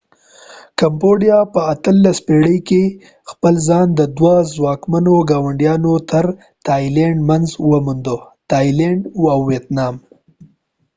په 18 پیړی کې کمبوديا combodia خپل ځان د دوه څواکمنو ګاونډیانو تر منځ و موند ، تایلینډ thailand او ويتنامvietnam